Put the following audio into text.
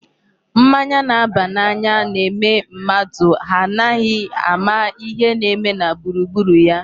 Mmanya na-aba n'anya na-eme mmadụ anaghị ama ihe na-eme na gburugburu ya.